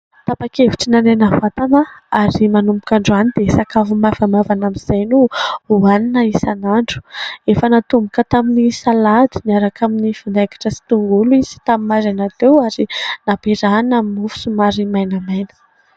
Tapakevitry ny hanena vatana ary manomboka androany dia sakafo maivamaivana amin'izay no hoanina isan'andro. Efa natomboka tamin'ny salady niaraka amin'ny vinaingitra sy tongolo izy tamin'ny maraina teo ary naperahana aminy mofo somary mainamaina.